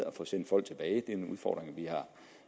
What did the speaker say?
at få sendt folk tilbage og det er